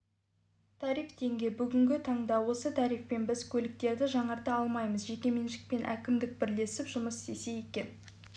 тариф теңге бүгінгі таңда осы тарифпен біз көліктерді жаңарта алмаймыз жекеменшікпен әкімдік бірлесіп жұмыс істесе екен